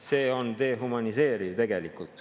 See on tegelikult dehumaniseeriv.